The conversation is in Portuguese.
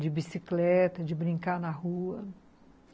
De bicicleta, de brincar na rua.